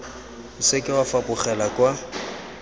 o seke wa fapogela kwa